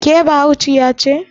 ke Bahaushiya ce?